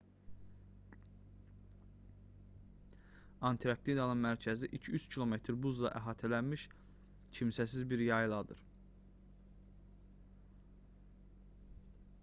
antarktidanın mərkəzi 2-3 km buzla əhatələnmiş kimsəsiz bir yayladır